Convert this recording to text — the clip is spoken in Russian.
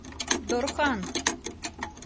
дорхан